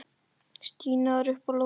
Stína var uppi á lofti.